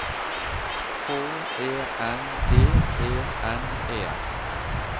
H E N D E N E